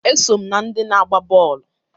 Eso m na ndị na-agba bọọlụ